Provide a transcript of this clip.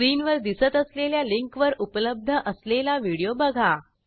स्क्रीनवर दिसत असलेल्या लिंकवर उपलब्ध असलेला व्हिडिओ बघा